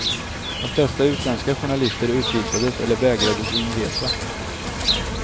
De flesta utländska journalister utvisades eller vägrades inresa.